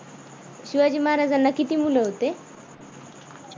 शिवाजी महाराजांना किती मुल होते?